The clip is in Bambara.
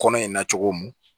Kɔnɔ in na cogo min